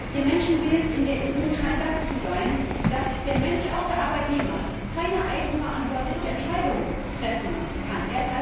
Ihr Menschenbild in der EU scheint zu sein, dass der Mensch, auch der Arbeitnehmer, keine eigenverantwortliche Entscheidung treffen kann.